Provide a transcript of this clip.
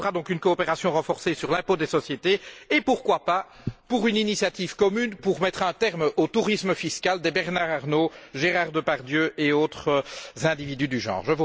Il nous faudra donc une coopération renforcée pour l'impôt des sociétés et, pourquoi pas, pour une initiative commune visant à mettre un terme au tourisme fiscal des Bernard Arnault, Gérard Depardieu et autres individus du genre.